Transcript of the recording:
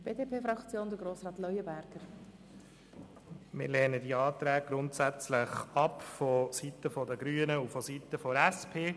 Wir lehnen die Anträge vonseiten der Grünen und vonseiten der SP grundsätzlich ab.